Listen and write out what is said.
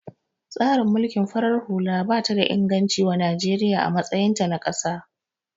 Tsarin mulkin farar hula bata da inganci wa Najeriya a matsayin ta na kasa